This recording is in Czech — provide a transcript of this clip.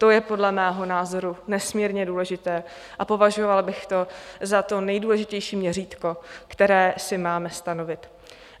To je podle mého názoru nesmírně důležité a považovala bych to za to nejdůležitější měřítko, které si máme stanovit.